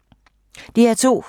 DR2